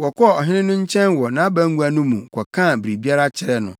wɔkɔɔ ɔhene no nkyɛn wɔ nʼabangua no mu kɔkaa biribiara kyerɛɛ no.